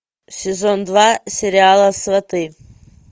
сезон два сериала сваты